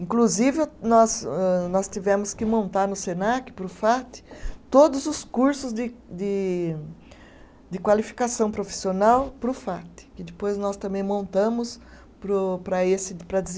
inclusive nós âh, nós tivemos que montar no Senac, para o Fate, todos os cursos de de de qualificação profissional para o Fate, que depois nós também montamos para o, para esse de para dese